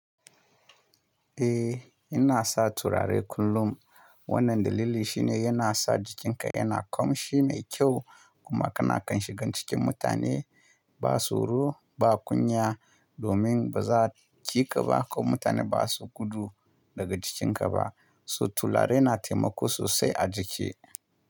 Eh, ina sa turare kullum. Wannan dalili shine yana sa jikinka yana kamshi mai kyau kuma kana kan shigan cikin mutane ba so ro, ba kunya domin ba za a kika ba ko mutane ba su gudu daga jikinka ba. So turare na taimako sosai a jiki.